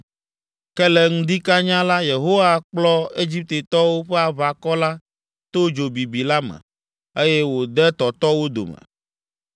Ke le ŋdi kanya la, Yehowa kplɔ Egiptetɔwo ƒe aʋakɔ la to dzo bibi la me, eye wòde tɔtɔ wo dome.